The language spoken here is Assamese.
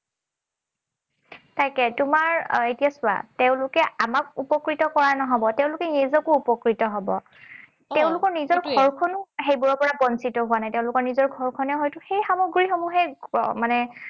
তাকে, তোমাৰ এতিয়া চোৱা, তেঁওলোকে আমাক উপকৃত কৰা নহব, তেঁওলোকে নিজকো উপকৃত হব। তেওঁলোকৰ নিজৰ ঘৰখন সেইবোৰৰ পৰা বঞ্চিত হোৱা নাই। তেওঁলোকৰ নিজৰ ঘৰখনে হয়তো সেই সমগ্ৰীসমূহেই মানে